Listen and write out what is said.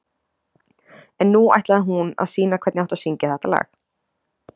En nú ætlaði hún að sýna hvernig átti að syngja þetta lag.